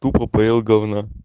тупо поел говна